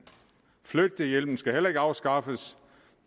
flyttehjælpen skal heller ikke afskaffes